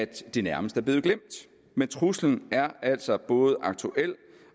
det nærmest er blevet glemt men truslen er altså både aktuel